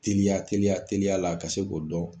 Teliya teliya teliyala ka se k'o dɔn